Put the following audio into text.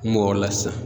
M'o la sisan